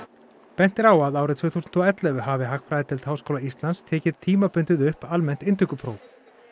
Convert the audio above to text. bent er á að árið tvö þúsund og ellefu hafi hagfræðideild Háskóla Íslands tekið tímabundið upp almennt inntökupróf